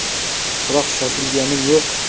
Biroq shoshilganim yo‘q.